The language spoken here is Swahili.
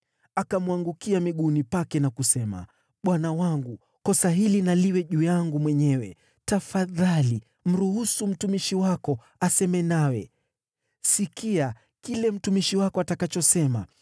Akamwangukia miguuni pake na kusema: “Bwana wangu, kosa hili na liwe juu yangu mwenyewe. Tafadhali mruhusu mtumishi wako aseme nawe. Sikia kile mtumishi wako atakachosema.